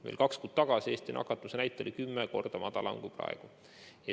Veel kaks kuud tagasi oli Eesti nakatumise näitaja kümme korda madalam kui praegu.